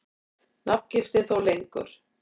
Nafngiftin þó lengur.